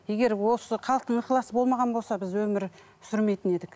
егер осы халықтың ықыласы болмаған болса біз өмір сүрмейтін едік